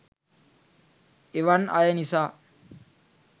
එවන් අය නිසා